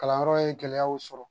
Kalanyɔrɔ ye gɛlɛyaw sɔrɔ